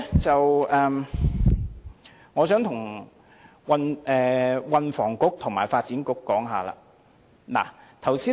此外，我想跟運輸及房屋局和發展局談一談。